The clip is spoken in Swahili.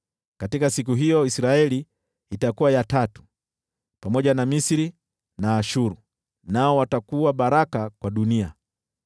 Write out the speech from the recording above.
Katika siku hiyo Israeli itakuwa ya tatu, pamoja na Misri na Ashuru, nao watakuwa baraka kwa dunia.